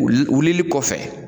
Wuli wilili kɔfɛ